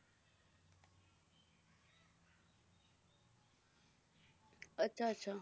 ਅੱਛਾ ਅੱਛਾ